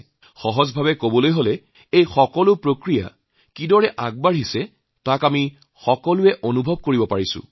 সহজভাবে কোনবোৰ সামগ্ৰী কেনেদৰে আগতে চলে সেয়া আমি সকলোৱে অনুভৱ কৰিছোঁ